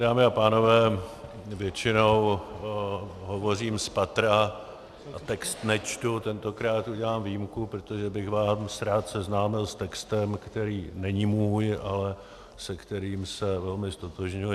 Dámy a pánové, většinou hovořím z patra a text nečtu, tentokrát udělám výjimku, protože bych vás rád seznámil s textem, který není můj, ale se kterým se velmi ztotožňuji.